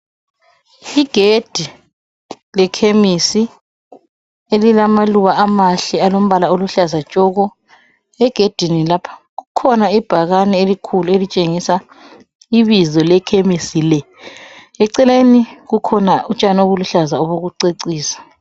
Igedi lekhemisi elilamaluba amahle alombala oluhlaza tshoko. Egedini lapha kukhona ibhakane elikhulu elitshengisa ibizo lekhemisi le, eceleni kukhona utshani obuluhlaza obokucecisa.